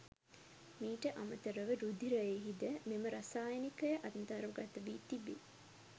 මීට අමතරව රුධිරයෙහි ද මෙම රසායනිකය අන්තර්ගත වී තිබේ.